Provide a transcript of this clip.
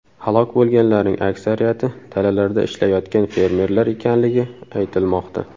Halok bo‘lganlarning aksariyati dalalarda ishlayotgan fermerlar ekanligi aytilmoqda.